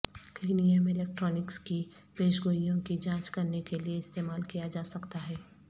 کلینیم electronics کی پیش گوئیوں کی جانچ کرنے کے لئے استعمال کیا جاسکتا ہے